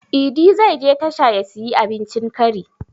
Idi zai je tasha ya siyi abincin kari